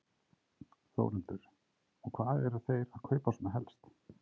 Þórhildur: Og hvað eru þeir að kaupa svona helst?